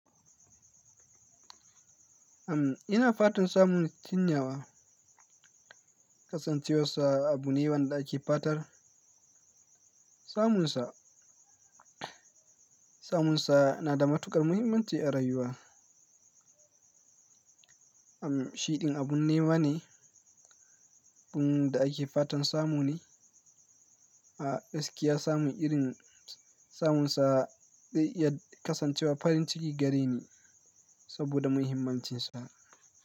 Am ina fatan samun cinyawa kasancewarsa abu ne wanda ake fatar. Samunsa, samunsa na da matuƙar muhimmanci a rayuwa. Am shiɗin abun ne wa ne, abun da ake fatan samu ne. A gaski ya samu irin samunsa, zai iya kasancewa farin ciki gare ni saboda muhimmancinsa.